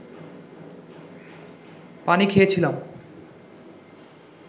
পানি খেয়েছিলাম